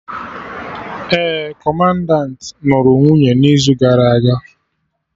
Ee, Kọmandanti nụrụ nwunye n'izu gara aga